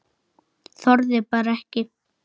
Þorði bara ekki.